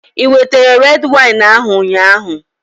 Ewetere red wine ahụ ụnyaahụ?